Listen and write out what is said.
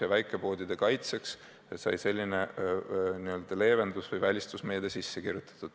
Ja väikepoodide kaitseks sai selline n-ö leevendus- või välistusmeede sisse kirjutatud.